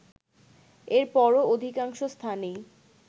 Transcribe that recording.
এরপরও অধিকাংশ স্থানেই